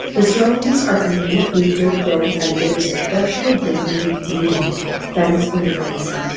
the surroundings are unpaved with dirt ground and there is a partially broken with wooden fence on the right side.